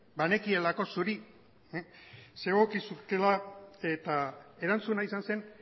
banekielako zuri zegokizula eta erantzuna izan zen